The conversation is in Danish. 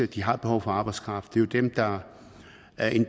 de har behov for arbejdskraft det er jo dem der er en